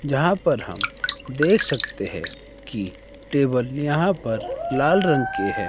जहां पर हम देख सकते हैं की टेबल यहां पर लाल रंग के है।